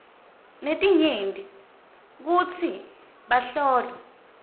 letinyenti kutsi bahlolwa